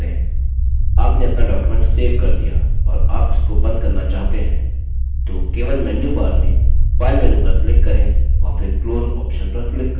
आपने आपना document save कर दिया और आप इसको बंद करना चाहते हैं तो केवल menu bar में file menu पर click करें और फिर close option पर click करें